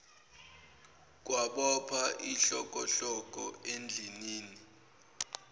kwabopha ihlokohloko endlinini